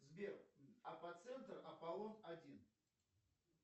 сбер апоцентр аполлон один